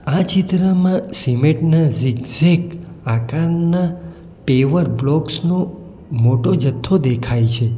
આ ચિત્રમાં સિમેન્ટ ના ઝિગઝેગ આકારના પેવર બ્લોકસ નો મોટો જથ્થો દેખાય છે.